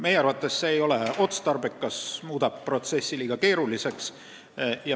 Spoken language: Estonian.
Meie arvates see ei ole otstarbekas, sest muudab protsessi liiga keeruliseks.